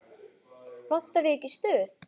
Vantar þig ekki stuð?